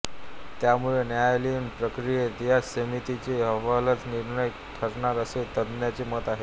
त्यामुळे न्यायालयीन प्रक्रियेत या समितीचा अहवालच निर्णायक ठरणार असे तज्ञांचे मत आहे